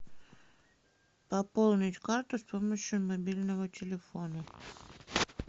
пополнить карту с помощью мобильного телефона